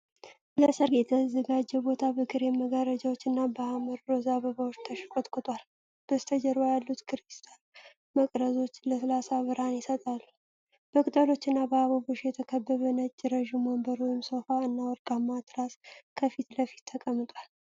ለሠርግ የተዘጋጀ ቦታ በክሬም መጋረጃዎች እና በሐመር ሮዝ አበባዎች ተሽቆጥቁጧል። በስተጀርባ ያሉት ክሪስታል መቅረዞች ለስላሳ ብርሃን ይሰጣሉ። በቅጠሎች እና በአበባዎች የተከበበ ነጭ ረጅም ወንበር (ሶፋ) እና ወርቃማ ትራስ ከፊት ለፊት ተቀምጧል።